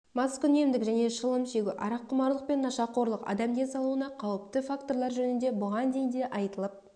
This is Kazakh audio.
маскүнемдік және шылым шегу араққұмарлық пен нашақорлық адам денсаулығына қауіпті факторлар жөнінде бұған дейін де айтылып